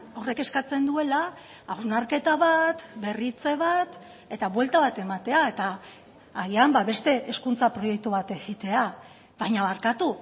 horrek eskatzen duela hausnarketa bat berritze bat eta buelta bat ematea eta agian beste hezkuntza proiektu bat egitea baina barkatu